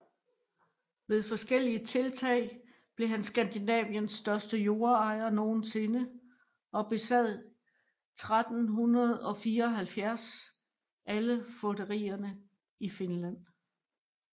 Ved forskellige tiltag blev han Skandinaviens største jordejer nogensinde og besad 1374 alle fogderier i Finland